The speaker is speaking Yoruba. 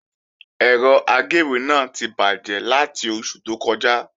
Ẹ̀rọ agéwé náà ti bàjẹ́ láti oṣù tó kọjá